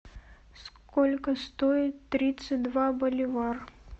сколько стоит тридцать два боливар